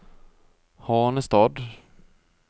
Hanestad